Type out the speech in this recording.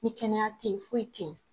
Ni kɛnɛya teyi foyi teyi.